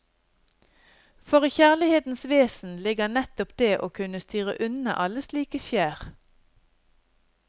For i kjærlighetens vesen ligger nettopp det å kunne styre unna alle slike skjær.